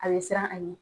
A bɛ siran a ɲɛ